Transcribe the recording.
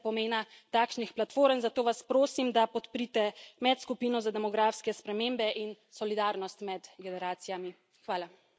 Še to, kolegice in kolegi, verjamem, da se zavedate pomena takšnih platform, zato vas prosim, da podprite medskupino za demografske spremembe in solidarnost med generacijami.